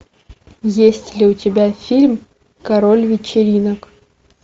есть ли у тебя фильм король вечеринок